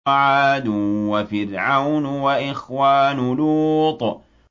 وَعَادٌ وَفِرْعَوْنُ وَإِخْوَانُ لُوطٍ